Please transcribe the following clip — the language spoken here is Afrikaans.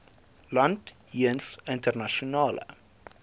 land jeens internasionale